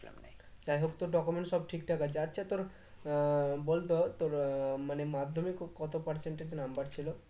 যাই হোক তোর documents সব ঠিকঠাক আছে আচ্ছা তোর আহ বলতো তোর আহ মানে মাধ্যমিকে কত percentage number ছিল?